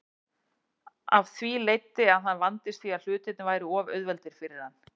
Af því leiddi að hann vandist því að hlutirnir væru of auðveldir fyrir hann.